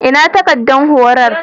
Ina takaddar horon?